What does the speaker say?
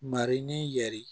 Marin yɛrɛ